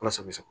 Ala sago i sago